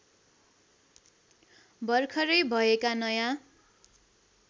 भरखरै भएका नयाँ